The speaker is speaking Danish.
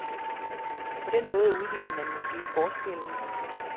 På den måde udligner man måske forskellen.